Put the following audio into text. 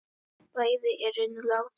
Bæði eru nú látin.